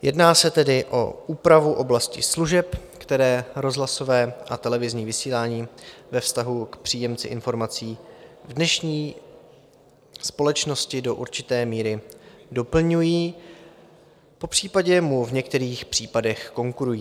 Jedná se tedy o úpravu v oblasti služeb, které rozhlasové a televizní vysílání ve vztahu k příjemci informací v dnešní společnosti do určité míry doplňují, popřípadě mu v některých případech konkurují.